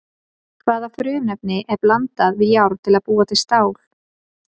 Hvaða frumefni er blandað við járn til að búa til stál?